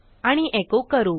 आणि एको करू